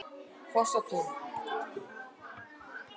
Fossatúni